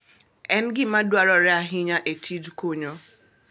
En gima dwarore ahinya e tij kunyo.